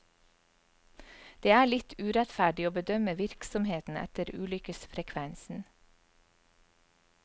Det er litt urettferdig å bedømme virksomheten etter ulykkesfrekvensen.